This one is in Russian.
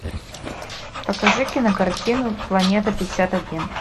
покажи кинокартину планета пятьдесят один